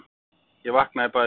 Ég vaknaði í bæði skiptin.